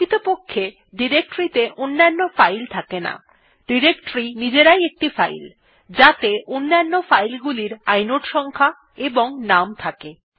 প্রকৃতপক্ষে ডিরেক্টরী ত়ে অন্যান্য ফাইল থাকে না ডিরেক্টরী নিজেরাই একটি ফাইল যাতে অন্যান্য ফাইল গুলির ইনোড সংখ্যা এবং নাম থাকে